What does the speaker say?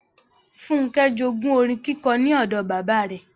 Fúnkẹ́ jogún orin kíkọ ní odò bàbáa rẹ.